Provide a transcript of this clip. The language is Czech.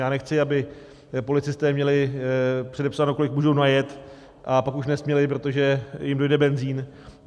Já nechci, aby policisté měli předepsáno, kolik můžou najet, a pak už nesměli, protože jim dojde benzin.